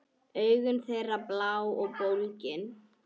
Augu þeirra blá og bólgin.